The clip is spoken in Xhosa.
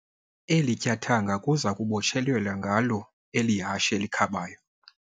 Eli tyathanga kuza kubotshelelwa ngalo eli hashe likhabayo.